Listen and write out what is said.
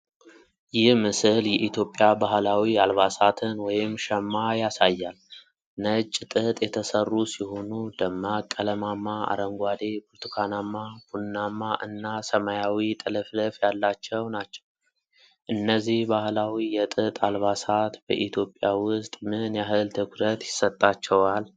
ይህ ምስል የኢትዮጵያ ባህላዊ አልባሳትን (ሸማ) ያሳያል። ነጭ ጥጥ የተሰሩ ሲሆኑ፣ ደማቅ ቀለማማ አረንጓዴ፣ ብርቱካናማ፣ ቡናማ እና ሰማያዊ ጥልፍልፍ ያላቸው ናቸው። እነዚህ ባህላዊ የጥጥ አልባሳት በኢትዮጵያ ውስጥ ምን ያህል ትኩረት ይሰጣቸዋል?